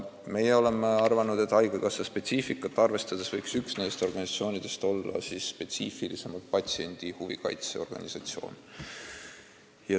Meie oleme arvanud, et haigekassa spetsiifikat arvestades võiks üks neist organisatsioonidest olla spetsiifilisemalt patsientide huve kaitsev organisatsioon.